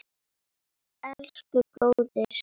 Elsku bróðir.